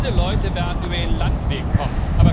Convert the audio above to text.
Diese Leute werden über den Landweg kommen.